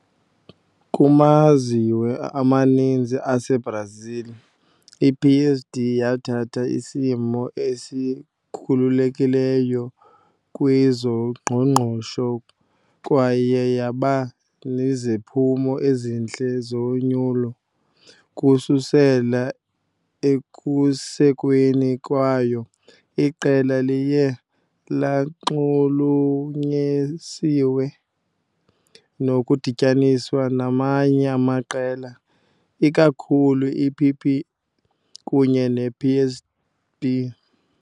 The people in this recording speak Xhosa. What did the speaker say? Kumazwe amaninzi aseBrazil, iPSD yathatha isimo esikhululekileyo kwezoqoqosho kwaye yaba neziphumo ezihle zonyulo. Ukususela ekusekweni kwayo, iqela liye lanxulunyesiwe nokudityaniswa namanye amaqela, ikakhulu iPP kunye nePSB.